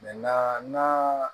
na